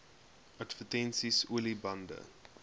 advertensies olie bande